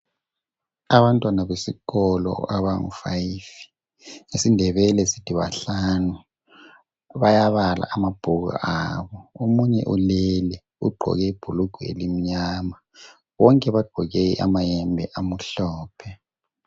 Abantwana besikolo abangu five , ngesindebele sithi bahlanu , bayabala amabhuku abo , omunye ulele ugqoke ibhulugwe elimnyama , bonke bagqoke amayembe amhlophe